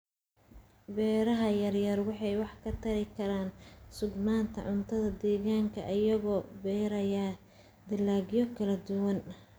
Beeraha yaryar waxay wax ka tari karaan sugnaanta cuntada deegaanka iyagoo beeraya dalagyo kala duwan.